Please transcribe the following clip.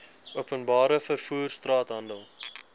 openbare vervoer straathandel